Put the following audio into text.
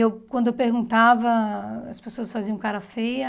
E quando eu perguntava, as pessoas faziam cara feia.